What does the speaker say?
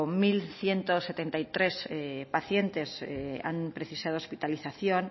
mil ciento setenta y tres pacientes han precisado hospitalización